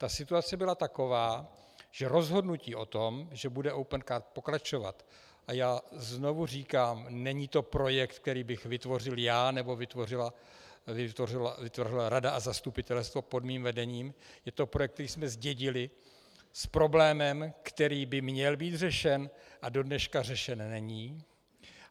Ta situace byla taková, že rozhodnutí o tom, že bude Opencard pokračovat - a já znovu říkám, není to projekt, který bych vytvořil já nebo vytvořila rada a zastupitelstvo pod mým vedením, je to projekt, který jsme zdědili s problémem, který by měl být řešen a do dneška řešen není.